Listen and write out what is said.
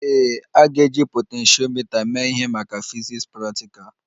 Ee, a ga-eji potentiomita mee ihe maka fiziks praktikal